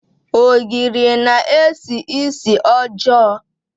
Ogiri na-esi ísì ọjọọ.